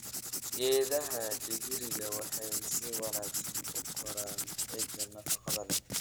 Geedaha digiriga waxay si wanaagsan u koraan ciidda nafaqada leh.